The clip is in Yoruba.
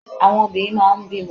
Àwọn obìnrin máa n bímọ